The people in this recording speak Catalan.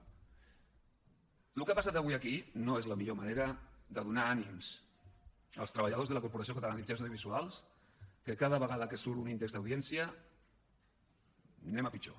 el que ha passat avui aquí no és la millor manera de donar ànims als treballadors de la corporació catalana de mitjans audiovisuals que cada vegada que surt un índex d’audiència anem a pitjor